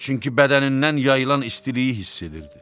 Çünki bədənindən yayılan istiliyi hiss edirdi.